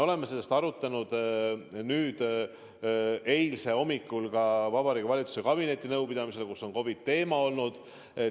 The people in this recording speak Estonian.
Me arutasime seda eile hommikul Vabariigi Valitsuse kabinetinõupidamisel, kus ka COVID-i teema laual oli.